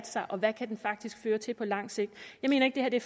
sig og hvad den faktisk kan føre til på lang sigt jeg mener ikke at det